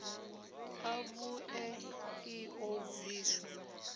ḽa vhuṋe ḽi ḓo bviswa